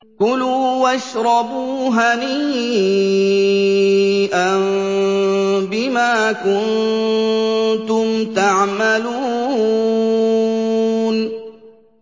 كُلُوا وَاشْرَبُوا هَنِيئًا بِمَا كُنتُمْ تَعْمَلُونَ